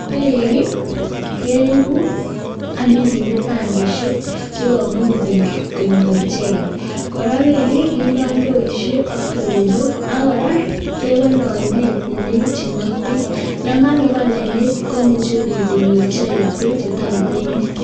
Beek keipu ak kende tangisiek sikomuuch biik ko nyor, kora kindoi ndoisyek ak teronok ako kora ke bale oinet sikonyor biik beek che toreten gei